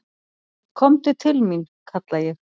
"""Komdu til mín, kalla ég."""